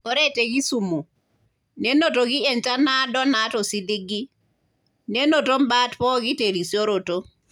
Ore te Kisumu , nenotoki enchan naado naata osiligi, nenoto imbat pooki terisioroto.